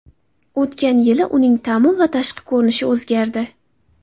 O‘tgan yili uning ta’mi va tashqi ko‘rinishi o‘zgardi.